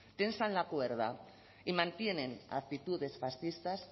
tensan la cuerda y mantienen actitudes fascistas